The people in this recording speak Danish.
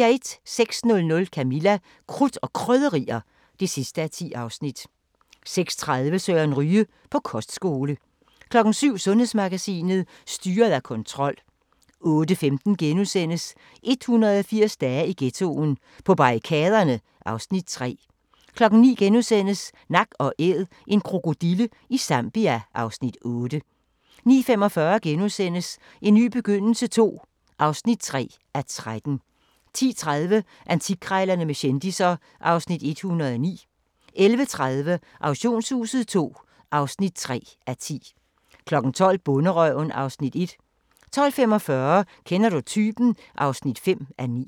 06:00: Camilla – Krudt og Krydderier (10:10) 06:30: Søren Ryge: På kostskole 07:00: Sundhedsmagasinet: Styret af kontrol 08:15: 180 dage i ghettoen: På barrikaderne (Afs. 3)* 09:00: Nak & Æd – en krokodille i Zambia (Afs. 8)* 09:45: En ny begyndelse II (3:13)* 10:30: Antikkrejlerne med kendisser (Afs. 109) 11:30: Auktionshuset II (3:10) 12:00: Bonderøven (Afs. 1) 12:45: Kender du typen? (5:9)